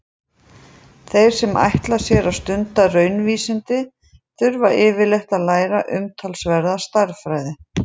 Þeir sem ætla sér að stunda raunvísindi þurfa yfirleitt að læra umtalsverða stærðfræði.